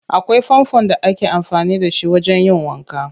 Akwai fanfon da ake amfani da shi wajen yin wanka.